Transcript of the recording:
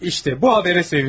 Baxın bu xəbərə sevinilər.